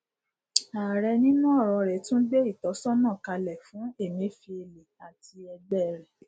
ààrẹ nínú ọrọ rẹ tún gbé ìtọsọnà kalẹ fún emefiele àti ẹgbẹ rẹ